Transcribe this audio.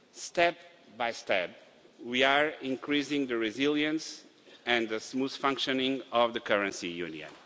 Step by step, we are increasing the resilience and the smooth functioning of the currency union.